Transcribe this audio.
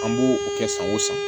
An b'o o kɛ san o san